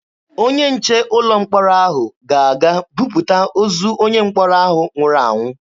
Onye nche ụlọ mkpọrọ ahụ ga-aga buputa ozu onye mkpọrọ ahụ nwụrụ anwụ.